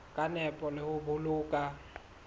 ka nepo le ho boloka